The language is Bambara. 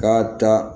Ka taa